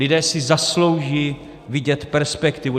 Lidé si zaslouží vidět perspektivu.